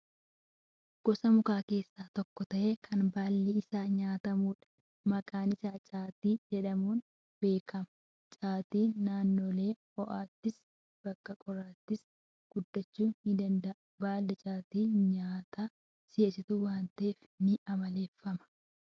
Gosa mukaa keessaa tokko ta'ee, kan baalli isaa nyaatamudha. Maqaan isaa caatii jedhamuun beekama. caatiin naannolee ho'aattis, bakka qorraattis guddachuu ni danda'a. Baalli caatii nyaata si'eessituu waan ta'eef, ni amaleeffatama.